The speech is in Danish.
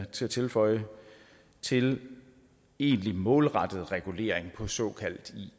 til at tilføje til egentlig målrettet regulering på såkaldt